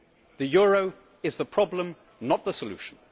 The euro is the problem not the solution.